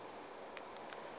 nako ya go ba le